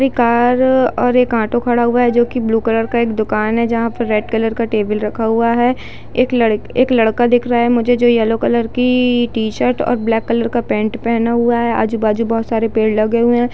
एक कार है और एक ऑटो खड़ा हुआ है जो की ब्लू कलर का है एक दुकान है जहाँ पे रेड कलर का टेबल रखा हुआ है एक लड़क एक लड़का दिख रहा है मुझे जो ये येलो कलर की टी-शर्ट और ब्लैक कलर की पेंट पेहना हुआ है आजु-बाजू बहुत सारे पेड़ लगे हुए हैं।